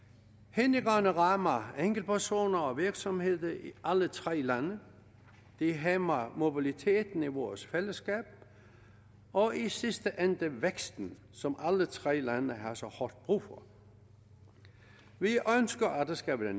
hindringerne rammer enkeltpersoner og virksomheder i alle tre lande de hæmmer mobiliteten i vores fællesskab og i sidste ende væksten som alle tre lande har så hårdt brug for vi ønsker at det skal være